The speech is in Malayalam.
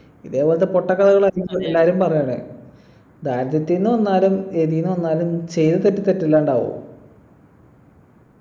ഇതേപോലത്തെ പൊട്ട കഥകളാ എല്ലാരും പറയണേ ദാരിദ്ര്യത്തിന്ന് വന്നാലും എതിന്നു വന്നാലും ചെയ്യുന്ന തെറ്റ് തെറ്റല്ലാണ്ട് ആവോ